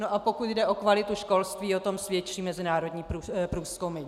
No a pokud jde o kvalitu školství, o tom svědčí mezinárodní průzkumy.